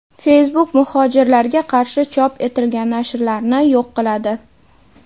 Facebook muhojirlarga qarshi chop etilgan nashrlarni yo‘q qiladi.